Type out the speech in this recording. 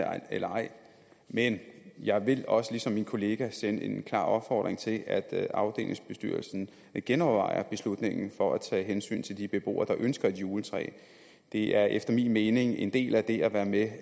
eller ej men jeg vil også ligesom min kollega sende en klar opfordring til at afdelingsbestyrelsen genovervejer beslutningen for at tage hensyn til de beboere der ønsker et juletræ det er efter min mening en del af det at være med